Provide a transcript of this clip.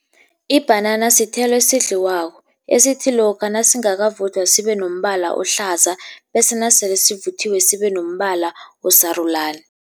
Ibhanana sithelo esidliwako, esithi lokha nasingakavuthwa sibe nombala ohlaza, bese nasele sivuthiwe sibe nombala osarulani.